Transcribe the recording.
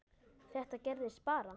Þetta gerðist bara?!